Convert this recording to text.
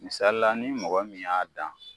Misalila ni mɔgɔ min y'a dan